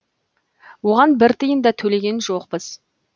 оған бір тиын да төлеген жоқпыз